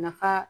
Nafa